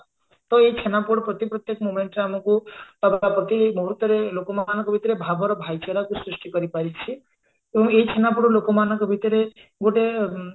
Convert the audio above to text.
ତ ଏଇ ଛେନାପୋଡ ପ୍ରତି ପ୍ରତ୍ୟକ momentରେ ଆମକୁ ପ୍ରତି ମୁହୂର୍ତରେ ଲୋକମାନଙ୍କ ଭିତରେ ଭାବର ଭାଇଚାରାକୁ ସୃଷ୍ଟି କରିପାରିଛି ତ ଏଇ ଛେନାପୋଡ ଲୋକମାନଙ୍କ ଭିତରେ ଗୋଟେ